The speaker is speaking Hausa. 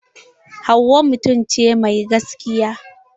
Hauwa mutum ce mai gaskiya.